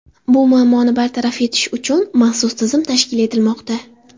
Bu muammoni bartaraf etish uchun maxsus tizim tashkil etilmoqda.